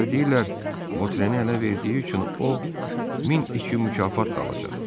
Hələ deyirlər Botrenin ələ verdiyi üçün o 1200 mükafat da alacaq.